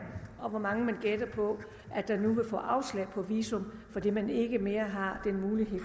og hvor mange man gætter på nu vil få afslag på visum fordi man ikke mere har den mulighed